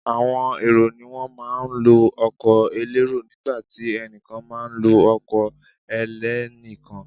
Àwọn èrò ni wọ́n má a ń lo ọkọ̀ elérò nígbàtí ẹnìkan má a nlo ọkọ̀ ẹlẹ́nìkan